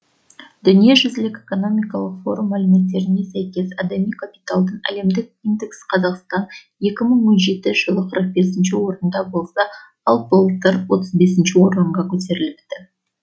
дүниежүзілік экономикалық форум мәліметтеріне сәйкес адами капиталдың әлемдік индекс қазақстан екі мың он жетінші жылы қырық бесінші орында болса ал былтыр отыз бесінші орынға көтеріліпті